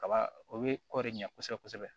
Kaba o bɛ kɔɔri ɲa kosɛbɛ kosɛbɛ